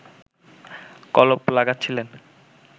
কলপ লাগাচ্ছিলেন